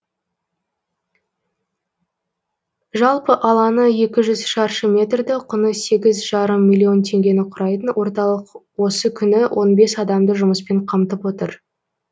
жалпы алаңы екі жүз шаршы метрді құны сегіз жарым миллион теңгені құрайтын орталық осы күні он бес адамды жұмыспен қамтып отыр